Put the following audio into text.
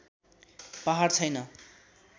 पहाड छैन